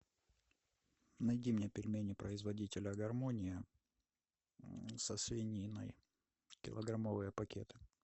найди мне пельмени производителя гармония со свининой килограммовые пакеты